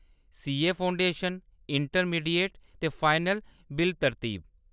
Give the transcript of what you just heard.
CA foundation, intermediate ते final, बिल-तरतीब ।